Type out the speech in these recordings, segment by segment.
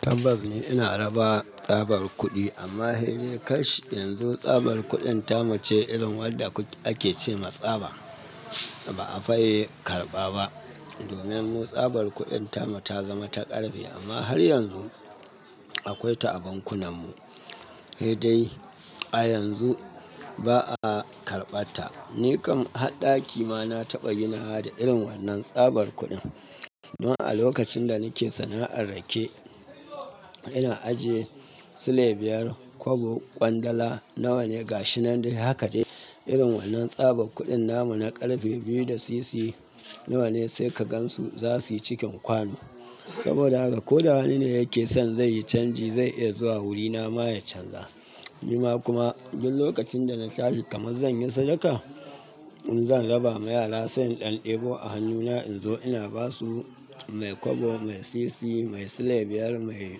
Tabbas ni ina raba tsabar kuɗi amma hedau kashi yanzu tsabar kuɗin tamu ce irin wadda ake ce ma tsaba ba a fiye karɓa ba. Domin mu tsabar kuɗin tamu ta zama ta ƙarfe amma har yanzu akwai ta a bankunan mu. Hei dai a yanzu ba a karɓar ta. Ni kam har ɗaki ma na taɓa yin wahala da irin wannan tsabar kuɗin don a lokacin da nike sana'ar rake, ina ajiye silai biyar, kwabo, kwandala nawa ne gashinan dai haka dai. Irin wannan tsabar kuɗin namu na ƙarfe biyu da sisi nawa ne sai ka gan su za su yi cikin kwano. Saboda haka ko da wani ne yake son zai yi canji zai iya zuwa wuri na ma ya canza. Amma kuma duk lokacin da na tashi kamar zan yi sadaka, in zan raba ma yara sai in ɗan ɗebo a hannuna in zo ina ba su mai kwabo, mai sisi, mai silai biyar, mai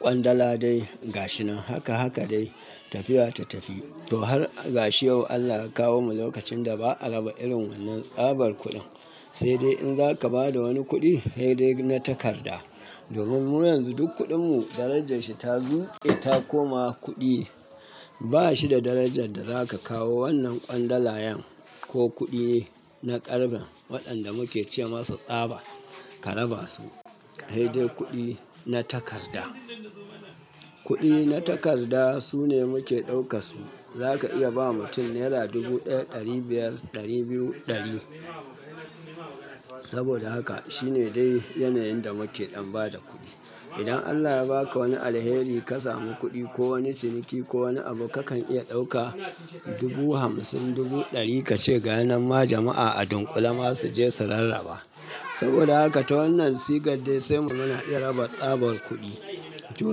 kwandala dai gashinan haka haka dai tafiya ta tafi. To har gashi yau Allah ya kawo mu lokacin da ba a raba irin wannan tsabar kuɗin, sai dai in zaka ba da wani kuɗi hei dai na takarda. Domin mu yanzu duk kuɗin mu darajar shi ta zo ita kuma kuɗi ne. Ba shi da darajar da zaka kawo wannan kwandalayan ko kuɗi na ƙarfen waɗanda muke ce masa tsaba ka raba su, hei dai kuɗi na takarda. Kuɗi na takarda su ne muke ɗauka su. Zaka iya ba mutum naira dubu ɗaya, ɗari biyar, ɗari biyu, ɗari. Saboda haka shine dai yanayin da muke ɗan ba da kuɗi. Idan Allah ya ba ka wani alheri ka samu kuɗi ko wani ciniki ko wani abu kakan iya ɗauka dubu hamsin, dubu ɗari ka ce ga yanan ma jama'a a dunkule ma su je su rarraba. Saboda haka ta wannan sigar dai sai mu muna raba tsabar kuɗi. To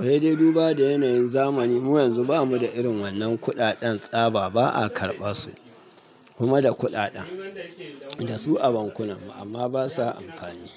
hei dai duba da yanayin zamani mu yanzu ba mu da irin wannan kuɗaɗen tsaba ba a karɓa su. Kuma da kuɗaɗen da su a bankunan mu amma basa amfani.